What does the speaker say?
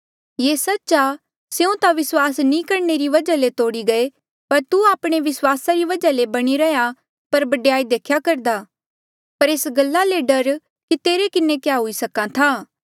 ये सच्च आ स्यों ता विस्वास नी करणे री वजहा ले तोड़ी गई पर तू आपणे विस्वासा री वजहा ले बणी रैंहयां पर बडयाई देख्या करदा पर एस गल्ला ले डर तेरे किन्हें क्या हुई सक्हा था